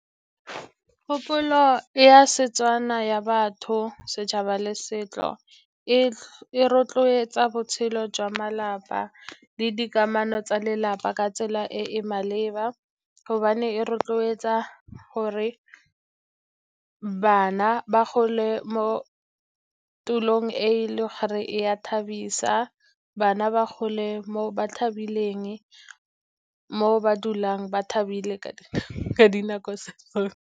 Kgopolo ya Setswana ya batho, setšhaba le setso e rotloetsa botshelo jwa malapa le dikamano tsa lelapa ka tsela e e maleba, gobane e rotloetsa gore bana ba gole mo tulong e le gore e a thabisa bana ba gole mo ba thabileng, mo ba dulang ba thabile ka dinako .